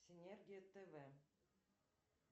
синергия тв